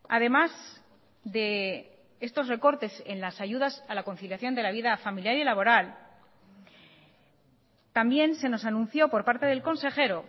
además de estos recortes en las ayudas a la conciliación de la vida familiar y laboral también se nos anuncio por parte del consejero